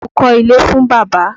Mo kọ́ ilé fún bàbá.